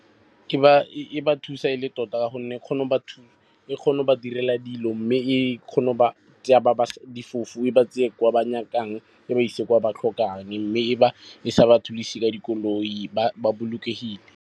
E dira ba thusa e le tota ka gonne e kgona go ba direla dilo. Mme e kgona go ba tseya ba difofu, e ba tseye kwa ba nyakang, e ba ise kwa ba tlhokang mme e sa ba thuse ka dikoloi ba bolokegile.